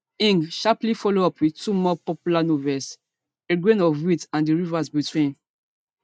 ngg sharply follow up wit two more popular novels a grain of wheat and the the river between